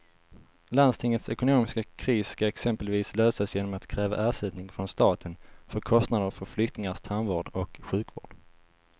Landstingets ekonomiska kris ska exempelvis lösas genom att kräva ersättning från staten för kostnader för flyktingars tandvård och sjukvård.